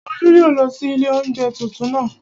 Olú yóò lọ sí ilé oúnjẹ tuntun naa